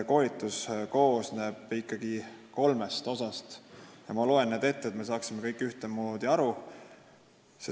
Koolitus koosneb ikkagi kolmest osast ja ma loen need ette, et me saaksime kõik ühtemoodi aru.